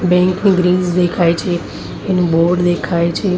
બેન્કની ગ્રિલ્સ દેખાય છે એનું બોર્ડ દેખાય છે.